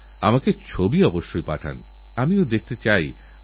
বিষয়টা আপনারা সবাই বোঝেন কিন্তু হয়তঅতটা গভীরতা দিয়ে দেখেন না